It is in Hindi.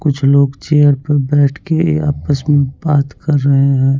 कुछ लोग चेयर पर बैठ के आपस में बात कर रहे हैं।